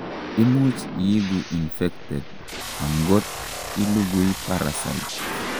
imuch iigu infected angot ilugui parasite